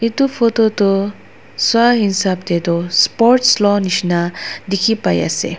itu photo toh swaa hisap tey tu sports loinishina dikhi pai ase.